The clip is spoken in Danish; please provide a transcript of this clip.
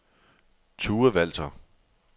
Tue Walther